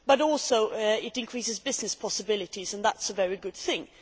it also increases business possibilities and that is a very good thing.